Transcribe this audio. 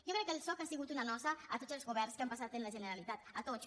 jo crec que el soc ha sigut una nosa a tots els governs que han passat a la generalitat a tots